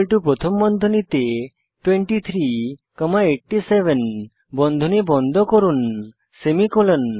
newArray প্রথম বন্ধনীতে 23 comma 87 বন্ধনী বন্ধ করুন সেমিকোলন